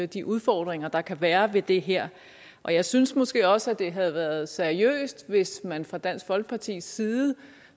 de udfordringer der kan være ved det her og jeg synes måske også at det havde været seriøst hvis man fra dansk folkepartis side